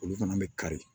Olu fana bɛ kari